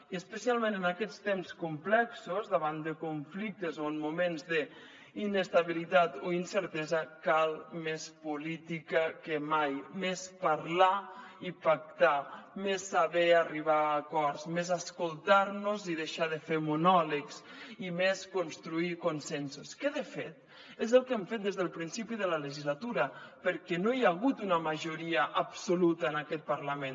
i especialment en aquests temps complexos davant de conflictes o en moments d’inestabilitat o incertesa cal més política que mai més parlar i pactar més saber arribar a acords més escoltar nos i deixar de fer monòlegs i més construir consensos que de fet és el que hem fet des del principi de la legislatura perquè no hi ha hagut una majoria absoluta en aquest parlament